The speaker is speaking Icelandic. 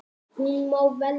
Hún má velja.